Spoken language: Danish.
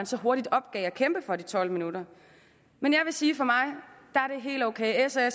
så hurtigt opgav at kæmpe for de tolv minutter men jeg vil sige at helt ok s og